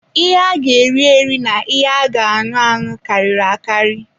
Ihe a ga eri-eri na ihe a ga aṅụ anụ karịrị akari.